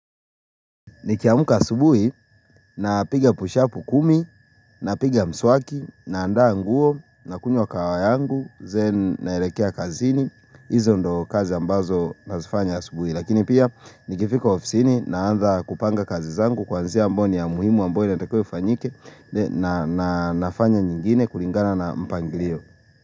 Nikiamuka subuhi na piga pushapu kumi na piga mswaki na andaa nguo na kunyua kawa yangu, then naelekea kazini, izo ndo kazi ambazo nazifanya subuhi. Lakini pia nikifika ofisini na anza kupanga kazi zangu kwanzia ambayo ni muhimu ambayo inatakiwa fanyike na nafanya nyingine kulingana na mpangilio.